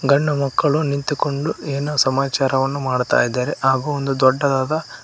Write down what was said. ಗಂಡು ಮಕ್ಕಳು ನಿಂತುಕೊಂಡು ಏನೋ ಸಮಾಚರವನ್ನು ಮಾಡ್ತಾಯಿದ್ದಾರೆ ಹಾಗು ಒಂದು ದೊಡ್ಡದಾದ--